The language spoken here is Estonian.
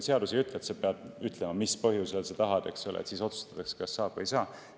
Seadus ei ütle, et sa pead ütlema, mis põhjusel sa tahad, et siis otsustatakse, kas seda saab teha või ei saa.